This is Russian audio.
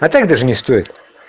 а так даже не стоит